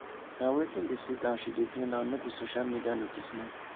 na wetin dey sweet am she dey do now nor be social media notice me